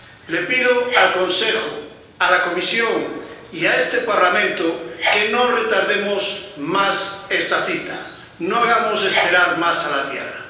Les pido al Consejo, a la Comisión y a este Parlamento que no retardemos más esta cita, no hagamos esperar más a la Tierra.